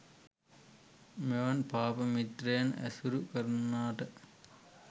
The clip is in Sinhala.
මෙවන් පාප මිත්‍රයන් ඇසුරු කරන්නා ට